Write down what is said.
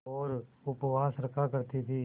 और उपवास रखा करती थीं